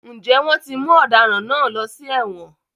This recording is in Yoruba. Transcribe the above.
Ǹjẹ́ wọ́n ti mú ọ̀daràn náà lọ sí èwọ̀n?